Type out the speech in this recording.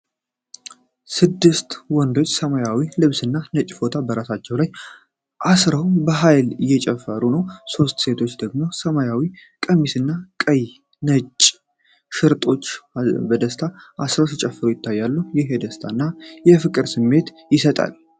ስድስት ወንዶች በሰማያዊ ልብስና ነጭ ፎጣ በራሳቸው ላይ አስረው በኃይል እየጨፈሩ ነው። ሦስት ሴቶች ደግሞ በሰማያዊ ቀሚስና ቀይና ነጭ ሽርጦች አሰረው በደስታ ሲጨፍሩ ይታያሉ። ይህ የደስታ እና የፍቅር ስሜት ይሰጣል።